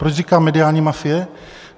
Proč říkám mediální mafie?